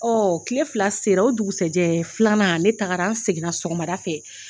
kile fila sera o dugusa jɛ filanan ne tagara, an seginna sɔgɔmada fɛ